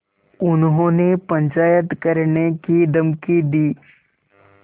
उन्होंने पंचायत करने की धमकी दी